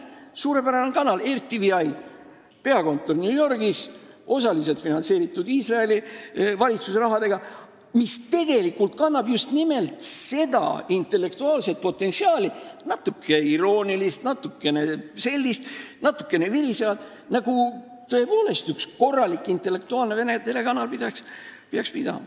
Suurepärane kanal RTVi, mille peakontor on New Yorgis ja mida osaliselt finantseeritakse Iisraeli valitsuse rahaga, kannab just nimelt sellist natuke iroonilist ja virisevat potentsiaali, nagu üks korralik intellektuaalne vene telekanal tõepoolest kandma peaks.